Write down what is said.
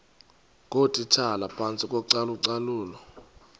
ngootitshala phantsi kocalucalulo